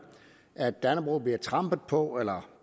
at dannebrog bliver trampet på eller